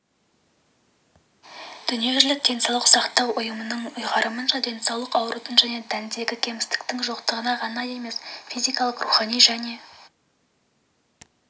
дүниежүзілік денсаулық сақтау ұйымының ұйғарымынша денсаулық аурудың және тәндегі кемістіктің жоқтығына ғана емес физикалық рухани және